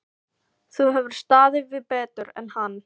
Þú hefur staðið þig betur en hann.